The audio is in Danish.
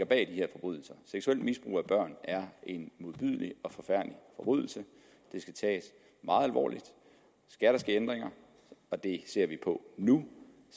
bag de her forbrydelser seksuelt misbrug af børn er en modbydelig og forfærdelig forbrydelse det skal tages meget alvorligt skal der ske ændringer og det ser vi på nu